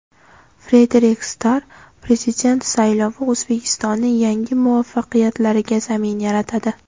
Frederik Starr: Prezident saylovi O‘zbekistonning yangi muvaffaqiyatlariga zamin yaratadi.